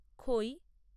খৈ